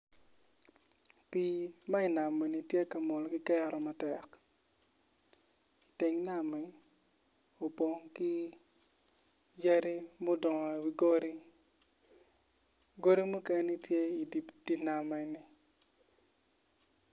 Pii ma inam eni to ka mol ki keto matek teng NAMI opong ki yadi mudongo iwi godi, godi mukene to i di nam en-ni